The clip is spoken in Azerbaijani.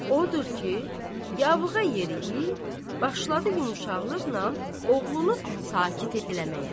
Odur ki, yavığa yeriyib başladı yumşaqlıqla oğlunu sakit eləməyə.